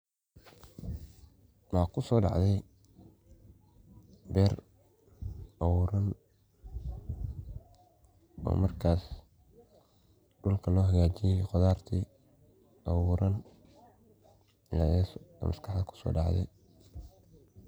Maxa kusodacdi beer abuuran oo markas dulka lohagaji, qodharti abuuran aya maskaxdadhi kusodacdi.